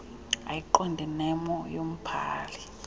ayiqonde nemo yombhali